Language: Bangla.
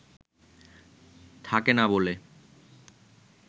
থাকেনা বলে